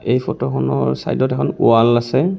এই ফটো খনৰ চাইদ ত এখন ৱাল আছে.